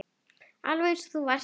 Alveg eins og þú varst.